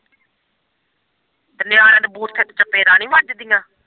ਤੇ ਨਿਆਣਿਆਂ ਦੇ ਬੂੱਥੇ ਚ ਚਪੇੜਾਂ ਨੀ ਵੱਜਦੀਆਂ।